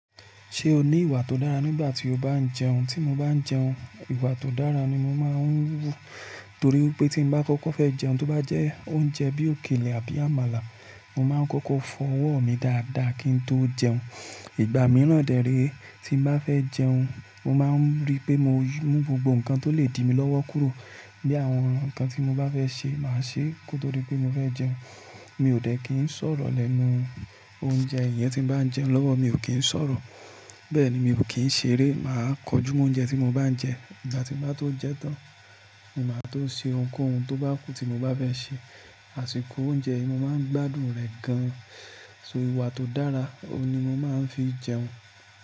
Ṣé o ní ìwà tó dára nígbà tí o bá ń jẹun? Tí mo bá ń jẹun, ìwà tó dára ni mo máa ń wú torí wípé tí mo bá kọ́kọ́ fẹ́ jẹun, tó bá jẹ́ oúnjẹ bí òkèlè àbí àmàlà, mo máa ń kọ́kọ́ fọ ọwọ́ mi dáadáa kí n tó jẹun. Ìgbà mìíràn dẹ̀ rẹ̀, tí mo bá fẹ́ jẹun, mo máa ń rí pé mo mú gbogbo nǹkan tó lè di mi lọ́wọ́ kúrò. Bí àwọn nǹkan tí mo bá fẹ́ ṣe, màá ṣe kó tó dí pé mo fẹ́ jẹun. Mi ò dẹ̀ kí ń sọ̀rọ̀ lẹ́nu oúnjẹ. Ìyẹn tí n bá ń jẹun lọ́wọ́, mi ò kí ń s'ọ̀rọ̀. Bẹ́ẹ̀ ni, mi ò kí ń ṣeré. Máa kọjú mọ únjẹ tí mo bá ń jẹ. Ìgbà tí n bá tó jẹ tán ni màá tó ṣe ohunkóhun tó bá ku tí mo bá fẹ́ ṣe àsìkò oúnjẹ, mo máa ń gbádùn rẹ̀ gan-an. Ìwà tó dára, òun ni mo máa ń fi jẹun.